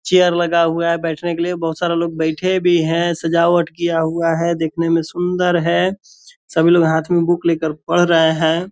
Chair लगा हुआ है बैठने के लिए बहोत सारे लोग बैठे भी है सजावट किया हुआ है देखने में सुन्दर है सभी लोग हाथ में बुक लेकर पढ़ रहे है ।